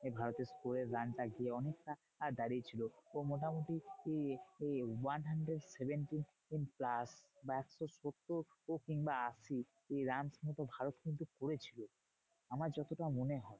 ভারতের score এর run টা গিয়ে অনেকটা দাঁড়িয়েছিল। ও মোটামুটি এই এই one hundred seventeen plus বা একশো সত্তর কিংবা আশি। এই run হয়তো ভারত কিন্তু করেছিল। আমার যতটা মনে হয়।